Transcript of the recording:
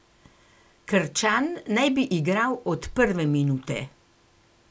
Krčan naj bi igral od prve minute.